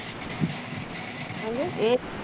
ਹੈਜੀ